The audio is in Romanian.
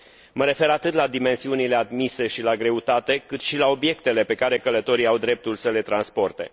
Mă refer atât la dimensiunile admise și la greutate, cât și la obiectele pe care călătorii au dreptul să le transporte.